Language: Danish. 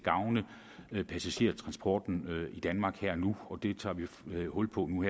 gavne passagertransporten i danmark her og nu det tager vi hul på nu